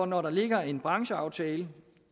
når der ligger en brancheaftale